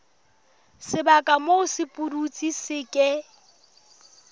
sebaka moo sepudutsi se ke